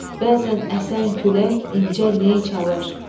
Bəzən əsən külək incə ney çalar.